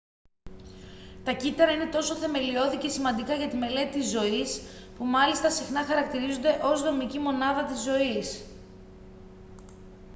τα κύτταρα είναι τόσο θεμελιώδη και σημαντικά για τη μελέτη της ζωής που μάλιστα συχνά χαρακτηρίζονται ως «δομική μονάδα της ζωής»